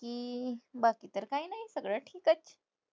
बाकी तर काय नाही सगळं ठीकच.